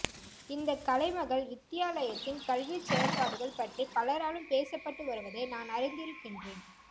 இந்தக் கலைமகள் வித்தியாலயத்தின் கல்விச்செயற்பாடுகள் பற்றி பலராலும் பேசப்பட்டு வருவதை நான் அறிந்திருக்கின்றேன்